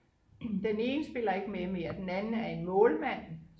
den ene spiller ikke med mere den anden er en målmand